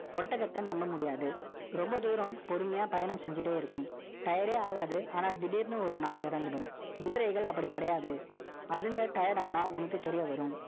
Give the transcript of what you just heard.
ஒட்டகத்தை நம்ப முடியாது. ரொம்ப தூரம், பொறுமையா பயணம் செஞ்சுட்டே இருக்கும். Tierd ஏ ஆகாது. ஆனா, திடீர்ன்னு ஒரு நாள் இறந்திடும். குதிரைகள் அப்படி கிடையாது அதுங்க tired ஆனா, உனக்கு தெரிய வரும்.